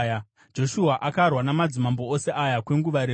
Joshua akarwa namadzimambo ose aya kwenguva refu.